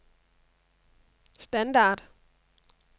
standard